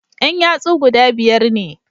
Yan yatsu guda biyar ne